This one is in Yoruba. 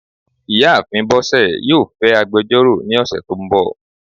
ìyáàfín bosé yọọ fẹ agbẹjọro ní osé to n bò.